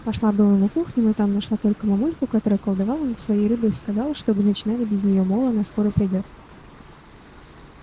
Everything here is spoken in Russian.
пошла было на кухню но там нашла только мамульку которая колдовала над своей рыбой и сказала чтобы начинали без неё мол она скоро придёт